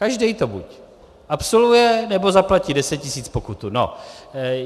Každý to buď absolvuje, nebo zaplatí 10 tisíc pokutu.